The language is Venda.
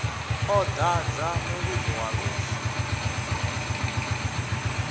ḓo dadza muvhigo wa lufu